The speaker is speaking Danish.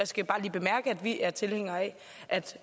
skal bare lige bemærke at vi er tilhængere af at